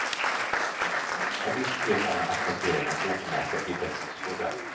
Och visst sker många asfalteringar obemärkta i dess skugga.